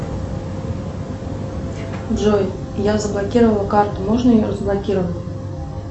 джой я заблокировала карту можно ее разблокировать